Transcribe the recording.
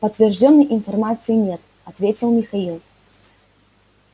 подтверждённой информации нет ответил михаил